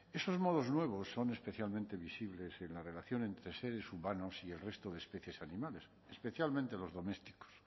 esos modos nuevos son especialmente visibles en la relación entre seres humanos y el resto de especies animales especialmente los domésticos